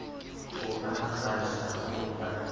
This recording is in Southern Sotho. o a kgasa o a